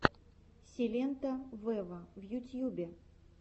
силенто вево в ютьюбе